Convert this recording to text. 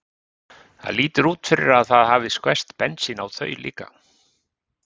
Það lítur út fyrir að það hafi skvest bensín á þau líka.